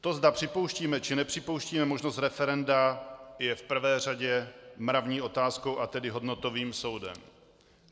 To, zda připouštíme, či nepřipouštíme možnost referenda, je v prvé řadě mravní otázkou, a tedy hodnotovým soudem.